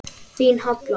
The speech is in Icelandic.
Þín Halla.